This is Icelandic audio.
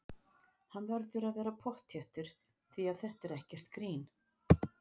Hann verður að vera pottþéttur því að þetta er ekkert grín!